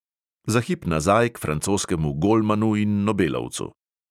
Za hip nazaj k francoskemu golmanu in nobelovcu.